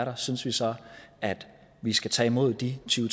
der synes vi så at vi skal tage imod de tyve